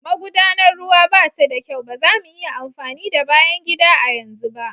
Magudanar ruwa ba ta da kyau, ba za mu iya amfani da bayan gida a yanzu ba\